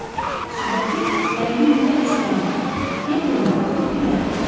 Sudakı əyri-üyrü əkslərinə, bir-birinə baxıb gülərdilər.